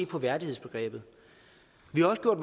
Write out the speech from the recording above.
på værdighedsbegrebet vi har også gjort